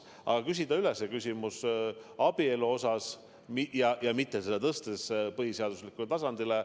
Aga me küsime selle küsimuse abielu kohta, mitte tõstes seda põhiseadustasandile.